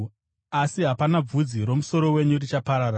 Asi hapana bvudzi romusoro wenyu richaparara.